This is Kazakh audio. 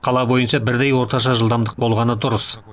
қала бойынша бірдей орташа жылдамдық болғаны дұрыс